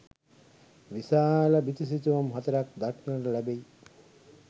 විශාල බිතු සිතුවම් හතරක් දක්නට ලැබෙයි.